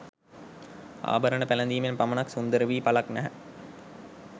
ආභරණ පැළඳීමෙන් පමණක් සුන්දර වී ඵලක් නැහැ.